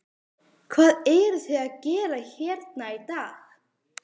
Hvað eruð þið að gera hérna í dag?